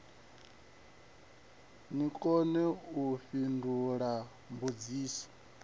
ni kone u fhindula mbudziso